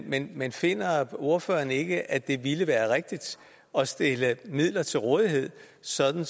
men men finder ordføreren ikke at det ville være rigtigt at stille midler til rådighed sådan